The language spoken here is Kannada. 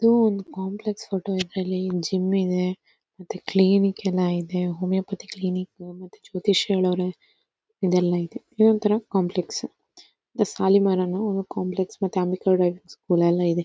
ಇದು ಒಂದು ಕಾಂಪ್ಲೆಕ್ಸ್ ಫೋಟೋ ಇದರಲ್ಲಿ ಜಿಮ್ ಇದೆ ಮತ್ತೆ ಕ್ಲಿನಿಕ್ ಎಲ್ಲ ಇದೆ ಹೋಮಿಯೋಪತಿ ಕ್ಲಿನಿಕ್ ಮತ್ತೆ ಜ್ಯೋತಿಶ್ಯಿಗಳಿದಾರೆ ಇದೆಲ್ಲ ಇದೆ ಇದೊಂತರಾ ಕಾಂಪ್ಲೆಕ್ಸ್ ದ ಶಾಲಿಮರ್ ಅನ್ನೋ ಒಂದು ಕಾಂಪ್ಲೆಕ್ಸ್ ಮತ್ತೆ ಅಂಬಿಕಾ ಡ್ರೈವಿಂಗ್ ಸ್ಕೂಲ್ ಎಲ್ಲ ಇದೆ.